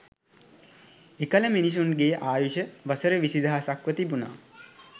එකල මිනිසුන්ගේ ආයුෂ වසර විසිදහසක්ව තිබුණා